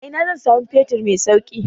A ina zan samu fetur mai sauki?